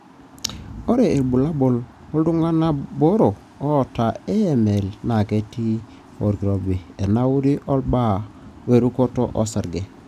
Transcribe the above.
ore ilbulabul oltunganaa boro oata AML na ketii olkirobi, enauri, olbaa werukoto osarge.